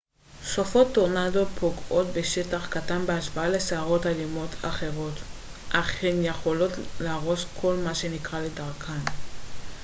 סופות טורנדו פוגעות בשטח קטן בהשוואה לסערות אלימות אחרות אך הן יכולות להרוס כל מה שנקרה לדרכן